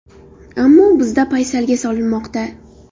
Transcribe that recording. Ammo bizda paysalga solinmoqda.